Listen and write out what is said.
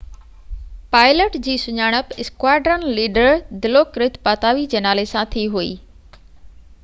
pilot جي سڃاڻپ squadron leader دلوڪرت پاتاوي جي نالي سان ٿي هئي